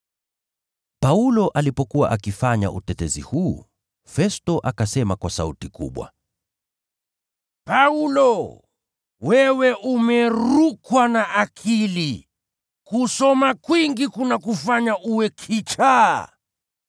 Paulo alipokuwa akifanya utetezi huu, Festo akasema kwa sauti kubwa, “Paulo, wewe umerukwa na akili! Kusoma kwingi kunakufanya uwe kichaa!”